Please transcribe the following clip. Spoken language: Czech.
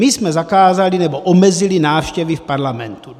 My jsme zakázali, nebo omezili návštěvy v parlamentu.